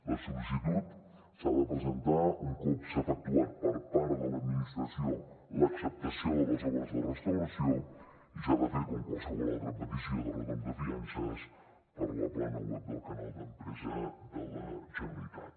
la sol·licitud s’ha de presentar un cop s’ha efectuat per part de l’administració l’acceptació de les obres de restauració i s’ha de fer com qualsevol altra petició de retorn de fiances per la plana web del canal empresa de la generalitat